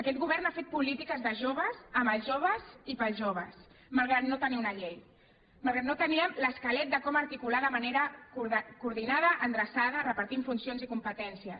aquest govern ha fet polítiques de joves amb els joves i per als joves malgrat que no tenia una llei malgrat que no teníem l’esquelet de com articular ho de manera coordinada endreçada repartint funcions i competències